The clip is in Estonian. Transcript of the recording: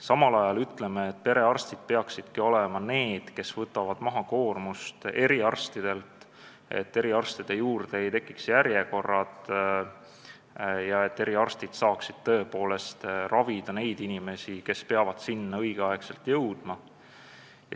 Samal ajal ütleme, et perearstid peaksid olema need, kes võtavad maha eriarstide koormust, et eriarstide juurde ei tekiks järjekordi ja nad saaksid tõepoolest ravida neid inimesi, kes peavad nende juurde õigel ajal jõudma.